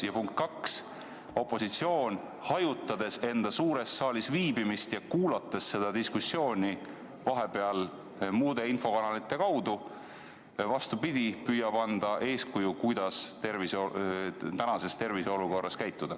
Ja punkt kaks: opositsioon, hajutades enda suures saalis viibimist ja kuulates seda diskussiooni vahepeal muude infokanalite kaudu, püüab hoopis anda eeskuju, kuidas tänases terviseolukorras käituda.